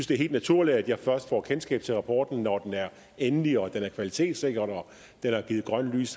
det er helt naturligt at jeg først får kendskab til rapporten når den er endelig og er kvalitetssikret og når der er givet grønt lys